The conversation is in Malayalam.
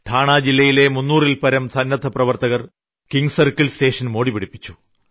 ഠാണ ജില്ലയിലെ 300ൽപരം സന്നദ്ധപ്രവർത്തകർ കിംഗ്സർക്കിൾ സ്റ്റേഷൻ മോടിപിടിപ്പിച്ചു